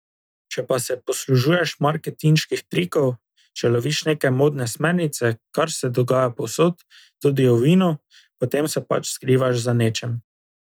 Če pa se poslužuješ marketinških trikov, če loviš neke modne smernice, kar se dogaja povsod, tudi v vinu, potem se pa pač skrivaš za nečem.